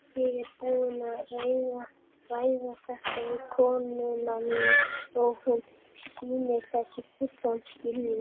Ég er búinn að ræða þetta við konuna mína og hún sýnir þessu fullan skilning.